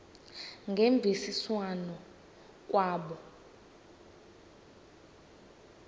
ngemvisiswano r kwabo